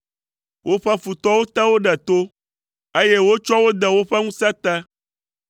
Woƒe futɔwo te wo ɖe to, eye wotsɔ wo de woƒe ŋusẽ te.